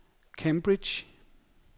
Cambridge